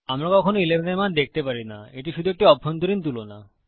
আমরা কখনো 11 এর মান দেখতে পারি না এটি শুধু একটি অভ্যন্তরীণ তুলনা